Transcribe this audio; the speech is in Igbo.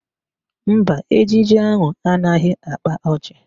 Mba, ejije ahụ anaghị akpa ọchị